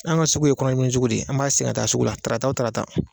An ka sugu ye kɔnɔdimini sugu de ye an b'a ka taa sugu la tarata o tarata